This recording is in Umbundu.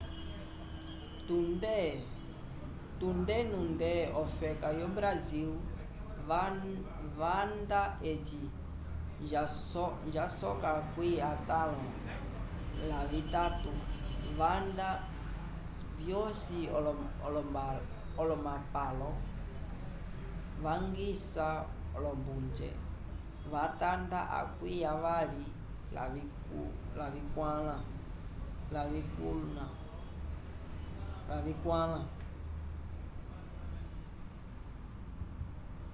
tunde nunde ofeka yo brasil vamba eci jasoka akwi atalon la vitatu vamba vyosi olomapalo vangiça olombuje yatanda akwi avali lavikulna